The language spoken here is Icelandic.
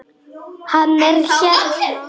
Hann er hérna.